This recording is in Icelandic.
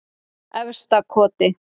Efstakoti